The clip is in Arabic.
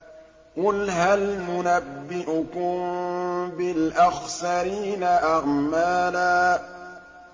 قُلْ هَلْ نُنَبِّئُكُم بِالْأَخْسَرِينَ أَعْمَالًا